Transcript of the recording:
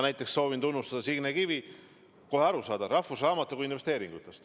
Näiteks soovin ma tunnustada Signe Kivi, kohe arusaadav – "Rahvusraamatukogu investeeringud".